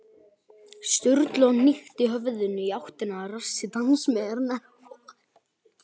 Sturlu og hnykkti höfðinu í áttina að rassi dansmeyjarinnar.